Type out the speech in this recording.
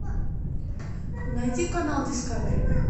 найди канал дискавери